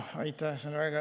Aitäh!